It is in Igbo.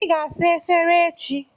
Ị ga-asa efere echi.